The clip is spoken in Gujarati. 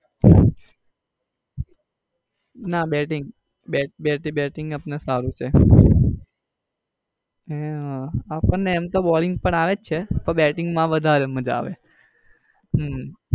હમ ના bating bating bating આપડને સારું છે હે હમ આપડને એમ તો balling પણ આવે જ છે પણ bating માં વધારે માજા આવે.